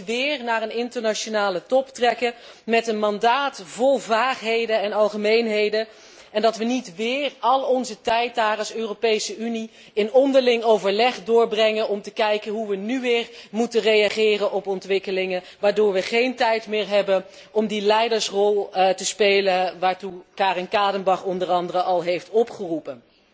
Dat we niet weer naar een internationale top trekken met een mandaat vol vaagheden en algemeenheden en dat we niet weer al onze tijd daar als Europese Unie in onderling overleg doorbrengen om te kijken hoe we nu weer moeten reageren op ontwikkelingen, waardoor we geen tijd meer hebben om die leidersrol te spelen waartoe Karin Kadenbach onder andere al heeft opgeroepen.